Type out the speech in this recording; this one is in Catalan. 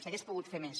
s’hagués pogut fer més